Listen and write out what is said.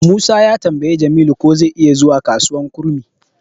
Musa ya tambayi Jamilu ko zai iya zuwa kasuwar kurmi.